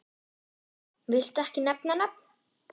Lára: Viltu ekki nefna nöfn?